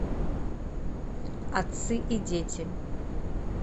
отцы и дети